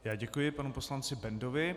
Já děkuji panu poslanci Bendovi.